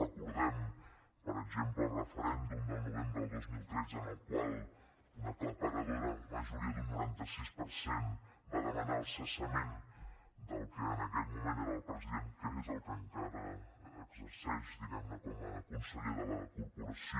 recordem per exemple el referèndum del novembre del dos mil tretze en el qual una aclaparadora majoria d’un noranta sis per cent va demanar el cessament del qui en aquell moment era el president que és el que encara exerceix diguem ne com a conseller de la corporació